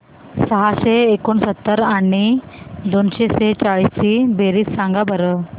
सहाशे एकोणसत्तर आणि दोनशे सेहचाळीस ची बेरीज सांगा बरं